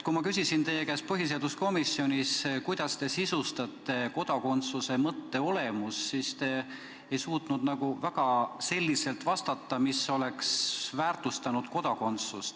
Kui ma küsisin teie käest põhiseaduskomisjonis, kuidas te sõnastate kodakondsuse mõtte olemust, siis te väga ei suutnud vastata viisil, mis oleks kodakondsust väärtustanud.